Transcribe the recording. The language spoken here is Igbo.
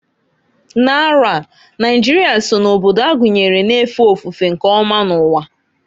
N'arọ a, Naijịrịa so na obodo agunyere na-efe ofufe nke ọma n'uwa.